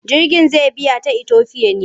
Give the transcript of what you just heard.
Jirgin zai biya ta Itofiya ne?